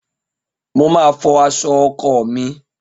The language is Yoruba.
Mo Máa fọ aṣọ ọkọ mi.